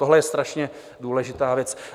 Tohle je strašně důležitá věc.